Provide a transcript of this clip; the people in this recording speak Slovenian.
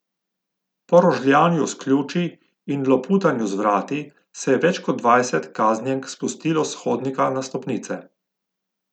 Po rožljanju s ključi in loputanju z vrati se je več kot dvajset kaznjenk spustilo s hodnika na stopnice.